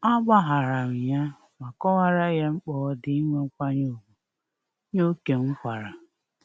A gbaharam ya ma kọwara ye mkpa odi inwe nkwanye ugwu ye ókè m kwara